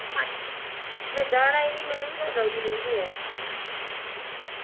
ਮੈਂ ਜਾਣਾਂ ਹੀ ਨਹੀਂ ਮੈਨੂੰ ਨਹੀਂ ਸਹੀ ਲੱਗਦੀ ਮੇਰੀ ਭੂਆ